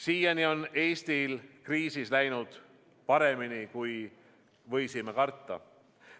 Siiani on Eestil kriisis läinud paremini, kui võisime karta.